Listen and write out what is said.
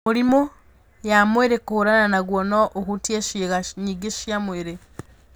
Mĩrimũ ya mwĩrĩ kũhũrana naguo no ũhutie ciĩga nyingĩ cia mwĩrĩ.